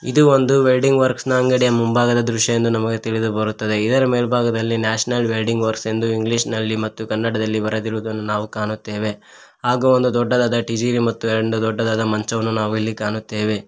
ಇದು ಒಂದು welding works ನ ಅಂಗಡಿಯ ಮುಂಭಾಗದ ದೃಶ್ಯವೆಂದು ನಮಗೆ ತಿಳಿದು ಬರುತ್ತದೆ ಇದರ ಮೇಲ್ಭಾಗದಲ್ಲಿ ನ್ಯಾಷನಲ್ ವೆಲ್ಡಿಂಗ್ ವರ್ಕ್ ಎಂದು ಇಂಗ್ಲಿಷ್ನ ಲ್ಲಿ ಮತ್ತು ಕನ್ನಡದಲ್ಲಿ ಬರೆದಿರುವ ನಾವು ಕಾಣುತ್ತೇವೆ ಹಾಗೂ ಒಂದು ದೊಡ್ಡದಾದ ಟೀಜಿವಿ ಮತ್ತು ಒಂದು ದೊಡ್ಡದಾದ ಮಂಚವನ್ನು ಕಾಣುತ್ತೇವೆ.